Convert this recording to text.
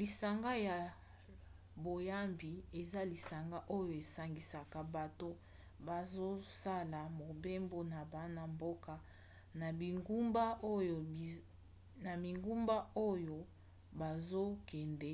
lisanga ya boyambi eza lisanga oyo esangisaka bato bazosala mobembo na bana mboka na bingumba oyo bazokende